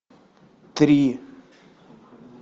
три